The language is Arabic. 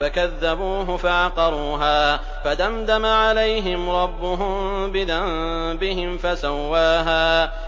فَكَذَّبُوهُ فَعَقَرُوهَا فَدَمْدَمَ عَلَيْهِمْ رَبُّهُم بِذَنبِهِمْ فَسَوَّاهَا